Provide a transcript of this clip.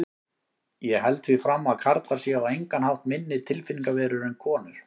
Ég held því fram að karlar séu á engan hátt minni tilfinningaverur en konur.